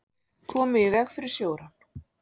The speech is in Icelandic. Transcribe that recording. Komu í veg fyrir sjórán